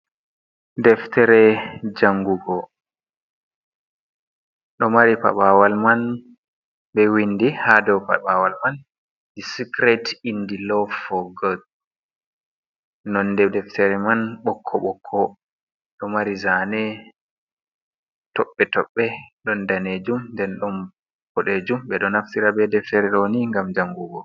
Deftere jangugo ɗo mari paɓawal man ɓe windi haa dow paɓawal man discret indi law for God. Nonde deftere man ɓokko-ɓokko, ɗo mari zaane toɓɓe-toɓɓe, ɗon danejum nden don boɗejum. Ɓe ɗo naftira be deftere ɗoni ngam jangugo.